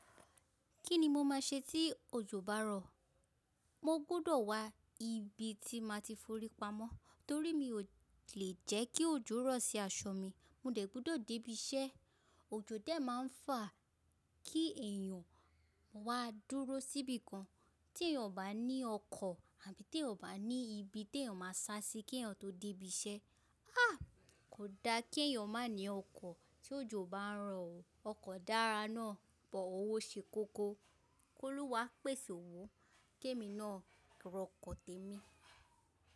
Kí ni mo máa ṣe tí òjò bá rọ̀? Mo gbọ́dọ̀ wá ibi tí mo ti fi forí pamọ́ torí mi ò lè jẹ́ kí òjò rọ̀ sí aṣọ mi. Mo dẹ̀ gbọ́dọ̀ dé ibi iṣẹ́, òjò dẹ́ máa ń fàá kí èèyàn wá dúró síbi kan, tí èèyàn ò bá ní ọkọ̀ àbí tí èèyàn ò bá ní ibi tí èèyàn máa sá sí kí èèyàn tó dé ibi iṣẹ́. Ah! Kò da kí èèyàn má ní ọkọ̀ tí òjò bá ń rọ̀ o. Ọkọ̀ dára náà but owó ṣe koko. Kólúwà pèsè owó ki emi náà rọkọ̀ tẹ̀mi.